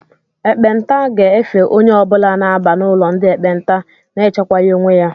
Ekpenta ga-efe onye ọbula na-aba n'ụlọ ndị ekpenta na-echekwaghi onwe ya